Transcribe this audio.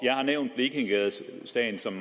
har nævnt blekingegadesagen som